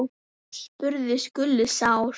spurði Gulli sár.